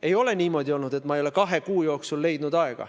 Ei ole niimoodi olnud, et ma ei ole kahe kuu jooksul aega leidnud.